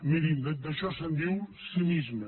mirin d’això se’n diu cinisme